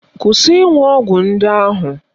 Kwụsị ịṅụ ọgwụ ndị ahụ!